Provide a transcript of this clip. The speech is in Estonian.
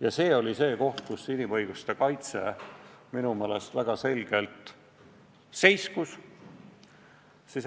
ja see oli see koht, kus inimõiguste kaitse minu meelest väga selgelt seiskus.